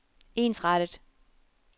ensrettet